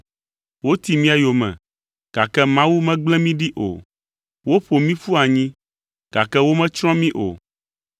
woti mía yome, gake Mawu megble mí ɖi o, woƒo mí ƒu anyi, gake wometsrɔ̃ mí o.